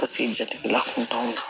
Paseke jatigila kun t'anw na